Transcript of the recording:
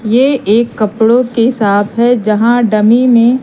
ये एक कपड़ों की साप है जहां डमी में--